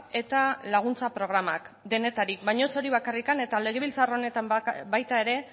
eta laguntza programak denetarik baina ez hori bakarrik eta legebiltzar honetan baita ere